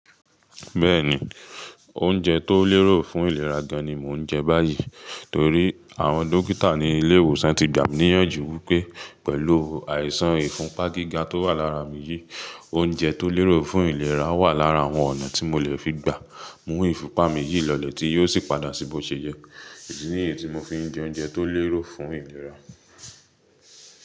Bẹ́ẹ̀ni, oúnjẹ tó lérò fún ìlera gan-an ni mò ń jẹ báyìí torí àwọn dókítà ní ilé ìwòsàn ti gbà mí níyànjú wípé pẹ̀lú àìsàn ìfúnpá gíga tó wà lára mi yìí, oúnjẹ tó lérò fún ìlera wà lára àwọn ọ̀nà tí mò lè fi gba mú ìfúnpá mi yìí lọlẹ̀ tí yóò sì padà sí bó ṣe yẹ́. Èyí ni èyí tí mò fi ń jẹ oúnjẹ tó lérò fún ìlera.